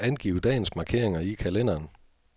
Angiv dagens markeringer i kalenderen.